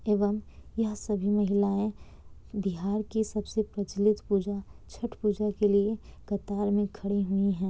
एवं यह सभी महिलाएं बिहार की सबसे प्रचलित पूजा छठ पूजा के लिए कतार में खड़ी हुई हैं।